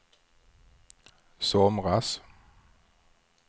somras